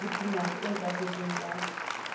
le phumantso e ntlafetseng ya